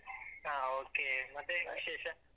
ಹಾ okay ಮತ್ತೆ ವಿಶೇಷ?